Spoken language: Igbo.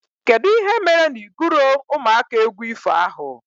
Kedụ ihe mere na i guro ụmụaka égwu ifo ahụ?